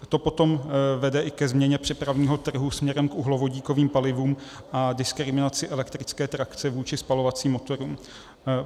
To potom vede i ke změně přepravního trhu směrem k uhlovodíkovým palivům a diskriminaci elektrické trakce vůči spalovacím motorům.